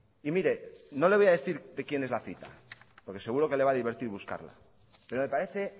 y mire no le voy a decir de quién es la cita porque seguro que le va a divertir buscarla pero me parece